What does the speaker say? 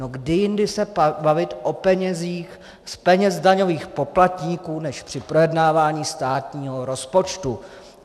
No, kdy jindy se bavit o penězích z peněz daňových poplatníků než při projednávání státního rozpočtu.